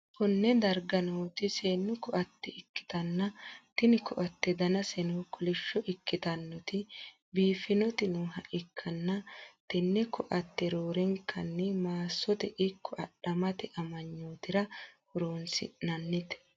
konne darga nooti seennu ko'atte ikkitanna, tini ko'atte danaseno kolishsho ikkitinoti biiffinoti nooha ikkanna, tenne ko'atte roorenkanni maassote ikko adhammete amanyootira horonsi'nannite.